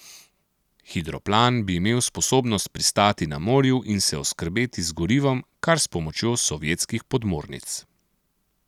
Hidroplan bi imel sposobnost pristati na morju in se oskrbeti z gorivom kar s pomočjo sovjetskih podmornic.